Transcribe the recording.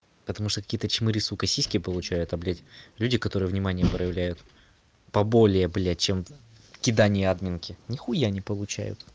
потому что какие-то чмыри сука сиськи получают а блять люди которые внимание проявляют поболее блять чем кидание админки нихуя не получают